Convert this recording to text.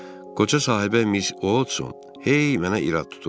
Qoca sahibə Mis Otson hey mənə irad tuturdu.